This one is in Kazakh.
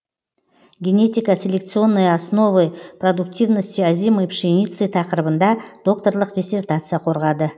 генетико селекционные основы продуктивности озимой пшеницы тақырыбында докторлық диссертация қорғады